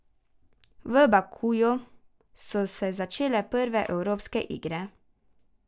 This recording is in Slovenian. V Bakuju so se začele prve evropske igre.